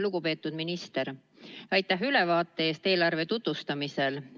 Lugupeetud minister, aitäh ülevaate eest eelarve tutvustamisel!